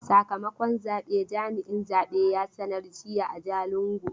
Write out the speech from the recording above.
Sakamakon zabe jami'in zabe ya sanar jiya a Jalingo.